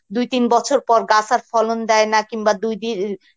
দুই তিন বছর পর গাছের ফলন দেয় না কিংবা দুই ডি